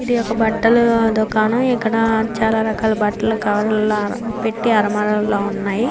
ఇది ఒక బట్టల దుకాణం. ఇక్కడ చాలా రకాల బట్టలు కవర్లలో పెట్టి అరమల లో ఉన్నాయి.